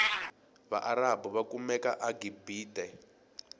vaarabhu vakumeka agibite